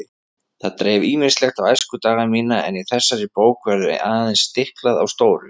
Það dreif ýmislegt á æskudaga mína en í þessari bók verður aðeins stiklað á stóru.